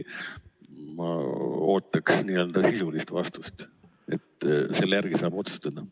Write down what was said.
Ma ootan sisulist vastust, selle järgi saab otsustada.